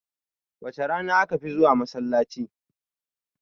Wace rana aka fi zuwa masallaci?